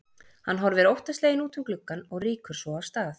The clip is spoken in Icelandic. Hann horfir óttasleginn út um gluggann og rýkur svo af stað.